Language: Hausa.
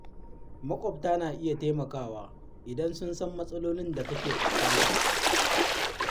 Maƙwabta na iya taimakawa idan sun san matsalolin da kake fuskanta.